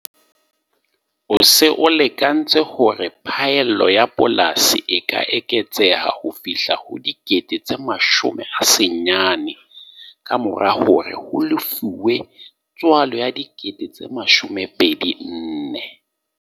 O se o lekantse hore phaello ya polasi e ka eketseha ho fihla ho R90 000, ka mora hore ho lefuwe tswala ya R24 000.